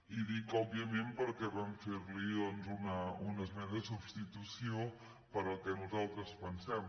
i dic òbviament perquè vam fer·li doncs una esmena de substitució pel que nos·altres pensem